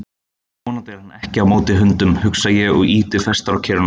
Ó, vonandi er hann ekki á móti hundum, hugsa ég og ýti fastar á kerruna.